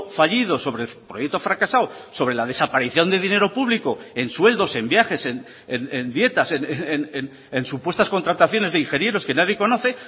fallido sobre el proyecto fracasado sobre la desaparición de dinero público en sueldos en viajes en dietas en supuestas contratación es de ingenieros que nadie conoce